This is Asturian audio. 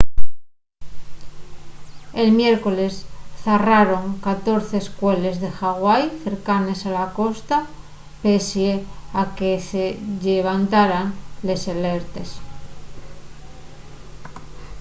el miércoles zarraron 14 escueles de hawaii cercanes a la costa pesie a que se llevantaran les alertes